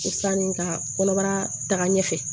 Sanni ka kɔnɔbara taga ɲɛfɛ